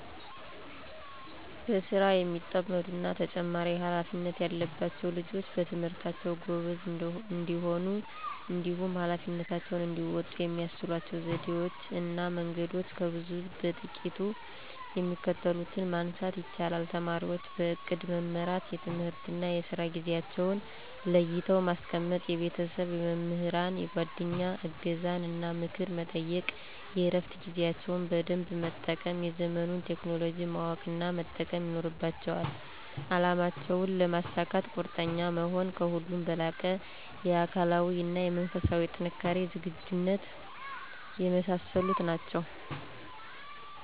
በስራ የሚጠመዱ እና ተጨማሪ ሃላፊነት ያለባቸዉ ልጆች በትምህርታቸዉ ጎበዝ እንዲሆኑ እንዲሁም ኀላፊነታቸውን እንዲወጡ የሚያስችሏቸው ዘዴወች እና መንገዶች ከብዙ በጥቂቱ የሚከተሉትን ማንሳት ይቻላል:- ተማሪወች በእቅድ መመራት፤ የትምህርትና የስራ ጊዜአቸዉን ለይተው ማስቀመጥ፤ የቤተሰብ፣ የመምህራን፣ የጓደኛ እገዛን እና ምክር መጠየቅ፤ የእረፋት ጊዜያቸውን በደንብ መጠቀም፤ የዘመኑን ቴክኖሎጂ ማወቅ እና መጠቀም ይኖርባቸዋል፤ አላማቸውን ለመሳካት ቁርጠኛ መሆን፤ ከሁሉም በላቀ የአካላዊ እና የመንፈስ ጥንካሬና ዝግጁነት የመሳሰሉት ናቸዉ።